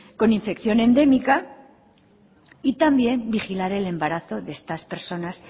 con infección endémica y también vigilar el embarazo de estas personas